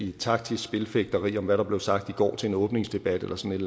i taktisk spilfægteri om hvad der blev sagt i går til en åbningsdebat eller sådan